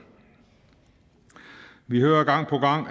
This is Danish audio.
vi hører gang på gang